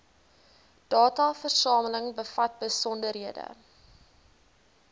dataversameling bevat besonderhede